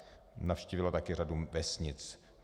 Navštívila také řadu vesnic.